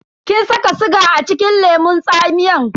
Kin saka siga acikin lemun tsamiyan?